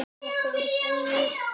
Þetta var búið spil.